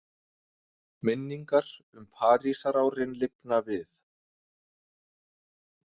Minningar um Parísarárin lifna við.